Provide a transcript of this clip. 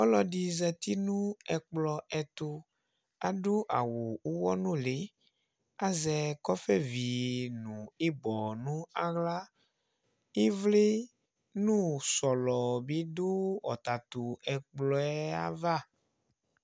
Ɔlɔɖɩ zati nʋ ɛƙplɔ ɛtʋAɖʋ awʋ ʋwɔ nʋlɩ;azɛ ƙɔƒɛvi nʋ ɩbɔ n' aɣlaƖvlɩ nʋ sɔlɔ bɩ ɖʋ ɔtatʋ ɛƙplɔɛ ava